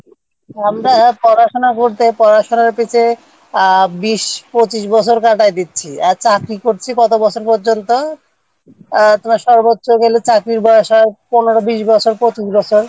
আমরা পড়াশোনা করতে পড়াশোনার পিছনে বিশ পঁচিশ বছর কাটাইয়া দিচ্ছি আর চাকরি করছি কত বছর পর্যন্ত আহ গেলে চাকরির বয়স হয় পনেরো বিশ বছর তারমানে পঁচিশ বছর